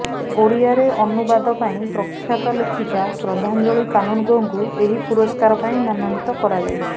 ଓଡ଼ିଆରେ ଅନୁବାଦ ପାଇଁ ପ୍ରଖ୍ୟାତ ଲେଖିକା ଶ୍ରଦ୍ଧାଞ୍ଜଳି କାନୁନଗୋଙ୍କୁ ଏହି ପୁରସ୍କାର ପାଇଁ ମନୋନୀତ କରାଯାଇଛି